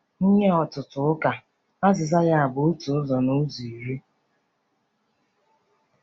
Nye ọtụtụ ụka, azịza ya bụ otu ụzọ n'ụzọ iri.